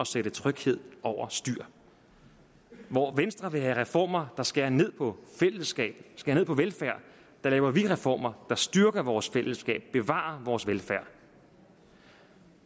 sætte tryghed over styr hvor venstre vil have reformer der skærer ned på fællesskabet skærer ned på velfærden laver vi reformer der styrker vores fællesskab bevarer vores velfærd